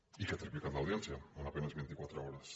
i que ha triplicat l’audiència en a penes vint i quatre hores